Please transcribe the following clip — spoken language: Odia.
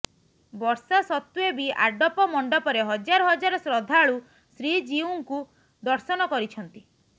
ବର୍ଷା ସତ୍ତ୍ୱେ ବି ଆଡପ ମଣ୍ଡପରେ ହଜାର ହଜାର ଶ୍ରଦ୍ଧାଳୁ ଶ୍ରୀଜିଉଙ୍କୁ ଦର୍ଶନ କରିଛନ୍ତି